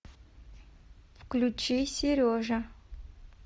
включи сережа